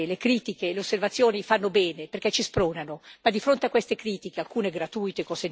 Io credo, signora Vicepresidente, come lei, che le critiche e le osservazioni fanno bene perché ci spronano.